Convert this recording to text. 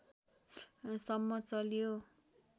सम्म चल्यो